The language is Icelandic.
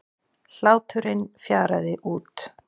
Hláturinn fjaraði út.